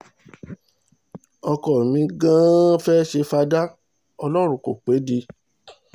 ọkọ mi gan-an fẹ́ẹ́ ṣe fada ọlọ́run kó pè é ni